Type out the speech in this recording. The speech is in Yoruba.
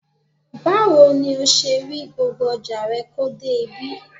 Báwo ni o ṣe rí gbogbo ọjà rẹ kó dé ibí?